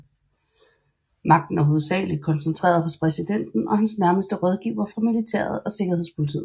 Magten er hovedsageligt koncentreret hos præsidenten og hans nærmeste rådgivere fra militæret og sikkerhedspolitiet